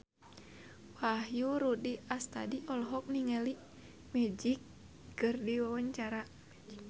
Wahyu Rudi Astadi olohok ningali Magic keur diwawancara